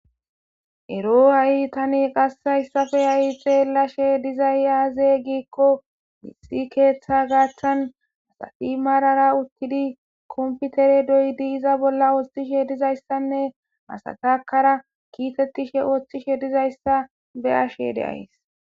ero ha7i tani qassayssafe ha7i xeellashe dizay aaze giikko mixi keeththa gaaththan asafi marara uttidi komputere doydi iza bolla oostishe dizayssanne masatakara kiitettishe ooththishe dizayssa be ashe deays